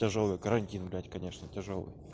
тяжёлый карантин блять конечно тяжёлый